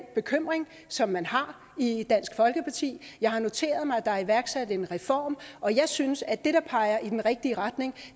bekymring som man har i dansk folkeparti jeg har noteret mig at der er iværksat en reform og jeg synes at det der peger i den rigtige retning